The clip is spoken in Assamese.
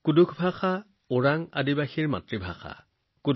কুৰুখ ভাষা তেওঁলোক জনজাতীয় লোকৰ মাতৃভাষাও